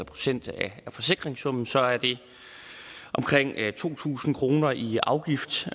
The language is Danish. procent af forsikringssummen så er det omkring to tusind kroner i afgift